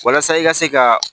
Walasa i ka se ka